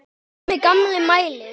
Tommi gamli mælir.